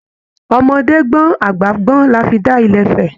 Ọmọdé gbọn, àgbà gbọn là fí da ilé-ifẹ̀